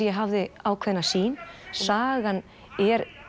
ég hafði ákveðna sýn sagan er